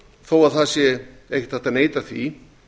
þó að ekki sé hægt að neita því